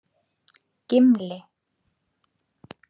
Gimli